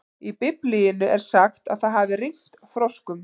Í Biblíunni er sagt að það hafi rignt froskum.